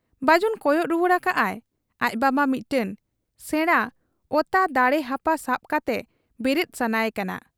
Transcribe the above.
ᱵᱟᱹᱡᱩᱱ ᱠᱚᱭᱚᱜ ᱨᱩᱣᱟᱹᱲ ᱟᱠᱟᱜ ᱟᱭ ᱟᱡ ᱵᱟᱵᱟ ᱢᱤᱫᱴᱟᱹᱝ ᱥᱮᱬᱟ ᱚᱛᱟ ᱫᱟᱲᱮ ᱦᱟᱯᱟ ᱥᱟᱵ ᱠᱟᱛᱮ ᱵᱮᱨᱮᱫ ᱥᱟᱱᱟᱭ ᱠᱟᱱᱟ ᱾